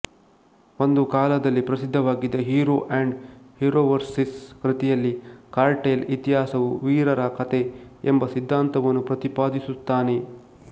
ಒಂದು ಕಾಲದಲ್ಲಿ ಪ್ರಸಿದ್ಧವಾಗಿದ್ದ ಹೀರೊ ಅಂಡ್ ಹೀರೊವರ್ಷಿಸ್ ಕೃತಿಯಲ್ಲಿ ಕಾರ್ಟೈಲ್ ಇತಿಹಾಸವು ವೀರರ ಕಥೆ ಎಂಬ ಸಿದ್ಧಾಂತವನ್ನು ಪ್ರತಿಪಾದಿಸುತ್ತಾನೆ